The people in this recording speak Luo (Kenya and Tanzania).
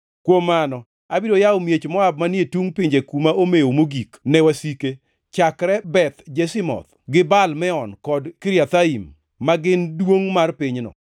Kuom mano, abiro yawo miech Moab manie tungʼ pinje kuma omew mogik, ne wasike, chakre Beth Jeshimoth, gi Baal Meon kod Kiriathaim, ma gin duongʼ mar pinyno.